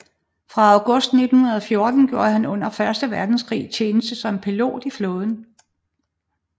Fra august 1914 gjorde han under første verdenskrig tjeneste som pilot i flåden